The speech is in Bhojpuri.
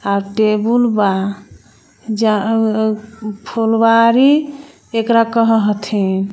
आ टेबुल बा जा_आ_आ फूलवारी एकरा कह हथी.